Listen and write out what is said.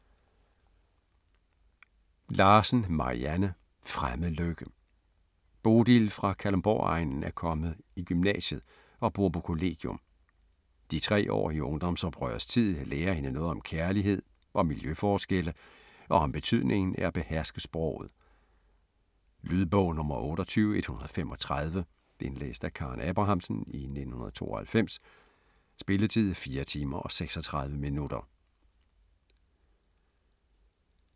Larsen, Marianne: Fremmed lykke Bodil fra Kalundborgegnen er kommet i gymnasiet og bor på kollegium. De tre år i ungdomsoprørets tid lærer hende noget om kærlighed, om miljøforskelle og om betydningen af at beherske sproget. Lydbog 28135 Indlæst af Karen Abrahamsen, 1992. Spilletid: 4 timer, 36 minutter.